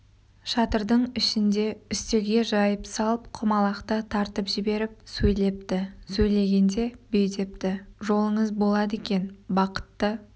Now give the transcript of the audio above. шатырдың ішінде үстелге жайып салып құмалақты тартып жіберіп сөйлепті сөйлегенде бүй депті жолыңыз болады екен бақытты